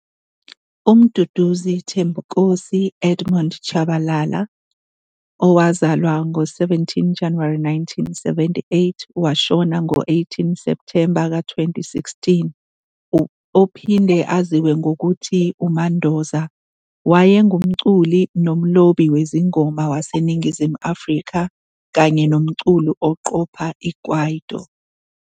UMduduzi Thembinkosi Edmund Tshabalala, 17 January 1978 - 18 September 2016, ophinde aziwe ngokuthi uMandoza, wayengumculi nomlobi wezingoma waseNingizimu Afrika kanye nomculi oqopha i-Kwaito.